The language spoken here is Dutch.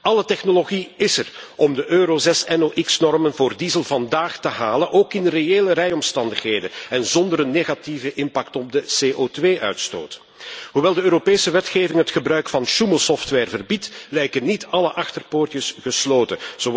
Alle technologie is er om de Euro 6 NOx normen voor diesel vandaag te halen, ook in reële rijomstandigheden en zonder negatieve impact op de CO2 uitstoot. Hoewel de Europese wetgeving het gebruik van sjoemelsoftware verbiedt, lijken niet alle achterpoortjes gesloten.